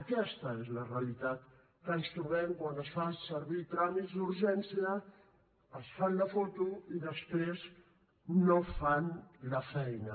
aquesta és la realitat que ens trobem quan es fan servir tràmits d’urgència es fan la foto i després no fan la feina